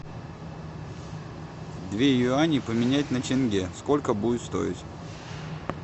две юани поменять на тенге сколько будет стоить